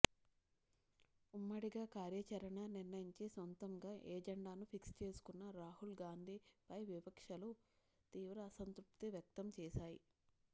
ఉమ్మడిగా కార్యాచరణ నిర్ణయించి సొంతంగా ఎజెండాను ఫిక్స్ చేసుకున్న రాహుల్ గాంధీపై విపక్షాలు తీవ్ర అసంతృప్తి వ్యక్తం చేశాయి